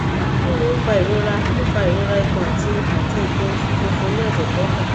kini o fa irora o fa irora ikun ati ati ikan osu funfun ni ose kefa